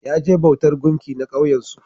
Ya je bautan gumki na kauyen su